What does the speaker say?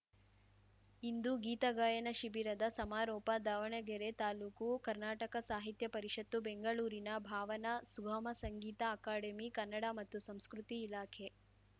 ಇಂದು ಗೀತಗಾಯನ ಶಿಬಿರದ ಸಮಾರೋಪ ದಾವಣಗೆರೆ ತಾಲೂಕು ಕರ್ನಾಟಕ ಸಾಹಿತ್ಯ ಪರಿಷತ್ತು ಬೆಂಗಳೂರಿನ ಭಾವನಾ ಸುಗಮ ಸಂಗೀತ ಅಕಾಡೆಮಿ ಕನ್ನಡ ಮತ್ತು ಸಂಸ್ಕೃತಿ ಇಲಾಖೆ